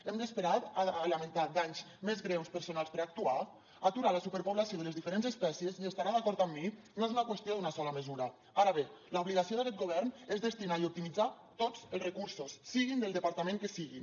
hem d’esperar a lamentar danys més greus personals per actuar aturar la superpoblació de les diferents espècies i deu estar d’acord amb mi no és una qüestió d’una sola mesura ara bé l’obligació d’aquest govern és destinar i optimitzar tots els recursos siguin del departament que siguin